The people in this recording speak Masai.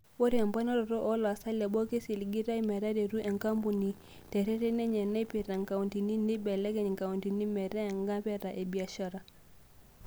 Ore emponaroto oo laasak leboo keisiligitay metaretu enkampuni tereten enye naipirita inkauntini, neibelekenya nkauntini metaa ngapeta e biashara.